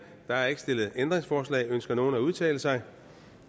er ikke stillet ændringsforslag ønsker nogen at udtale sig